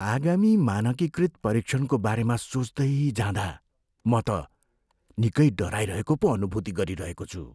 आगामी मानकीकृत परीक्षणको बारेमा सोच्दै जाँदा म त निकै डराइरहेको पो अनुभूति गरिरहेको छु।